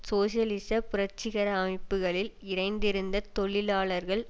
சோசியலிச புரட்சிகர அமைப்புக்களில் இணைந்திருந்த தொழிலாளர்கள்